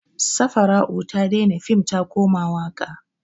Safarau ta daina fim ta koma waƙa.